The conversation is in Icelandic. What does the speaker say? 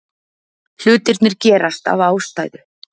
Hlutirnir gerast af ástæðu.